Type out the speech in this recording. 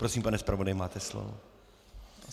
Prosím, pane zpravodaji, máte slovo.